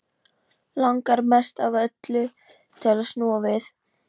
Langar mest af öllu til að snúa við.